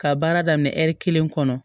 Ka baara daminɛ ɛri kelen kɔnɔ